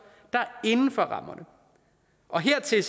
der er inden for rammerne og hertil